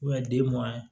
den mugan